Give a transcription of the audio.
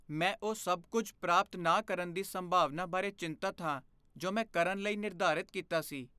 ਮੈਂ ਉਹ ਸਭ ਕੁੱਝ ਪ੍ਰਾਪਤ ਨਾ ਕਰਨ ਦੀ ਸੰਭਾਵਨਾ ਬਾਰੇ ਚਿੰਤਤ ਹਾਂ ਜੋ ਮੈਂ ਕਰਨ ਲਈ ਨਿਰਧਾਰਤ ਕੀਤਾ ਸੀ।